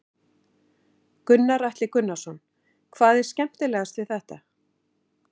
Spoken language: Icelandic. Gunnar Atli Gunnarsson: Hvað er skemmtilegast við þetta?